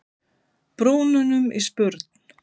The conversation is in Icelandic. brúnunum í spurn.